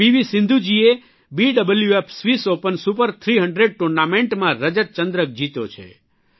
સિંધુજીએ BWF Swiss Open Super 300 ટુર્નામેન્ટમાં રજતચંદ્રક જીત્યો છે